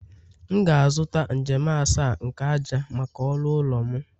M ga-azụta njem asaa nke ájá maka ọrụ ụlọ m